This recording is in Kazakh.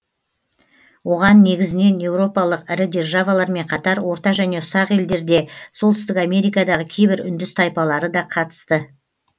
оған негізінен еуропалық ірі державалармен қатар орта және ұсақ елдер де солтүстік америкадағы кейбір үндіс тайпалары да қатысты